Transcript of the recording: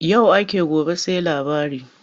Yau ake gobe sai labari.